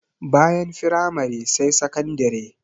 Bayan firamare sai sakandire.